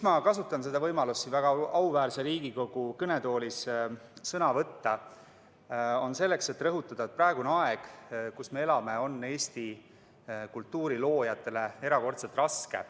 Ma kasutan seda võimalust siin väga auväärse Riigikogu kõnetoolis sõna võtta selleks, et rõhutada: praegune aeg, kus me elame, on Eesti kultuuriloojatele erakordselt raske.